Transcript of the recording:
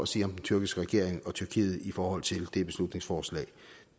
sige om den tyrkiske regering og tyrkiet i forhold til det beslutningsforslag